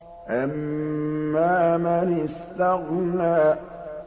أَمَّا مَنِ اسْتَغْنَىٰ